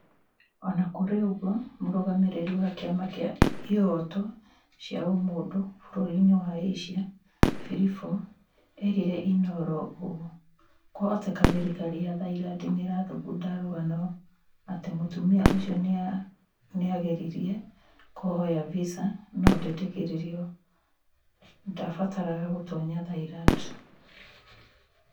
O na kũrĩ ũguo, Mũrũgamĩrĩri wa kĩama kĩa ihoto cia ũmũndũ bũrũri-inĩ wa Asia, Filifo, eerire Inoro ũũ 'kwahoteka thirikari ya Thailand nĩ ĩrathugunda rũgano atĩ mũtumia ũcio nĩ aageririe kũhoya visa no ndetĩkĩririo... ndaabataraga gũtoonya Thailand.'